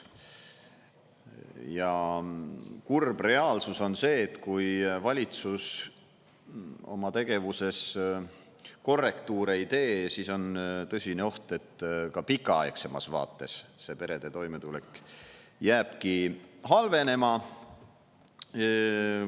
Ja kurb reaalsus on see, et kui valitsus oma tegevuses korrektuure ei tee, siis on tõsine oht, et ka pikaaegsemas vaates see perede toimetulek jääbki halvenema.